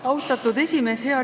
Austatud esimees!